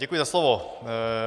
Děkuji za slovo.